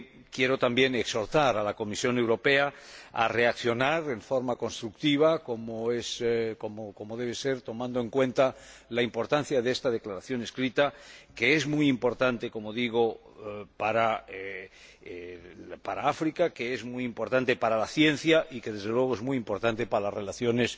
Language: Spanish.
Quiero también exhortar a la Comisión Europea a reaccionar de forma constructiva como debe ser tomando en cuenta la importancia de esta Declaración por escrito, que es muy importante para África, que es muy importante para la ciencia y que, desde luego, es muy importante para las relaciones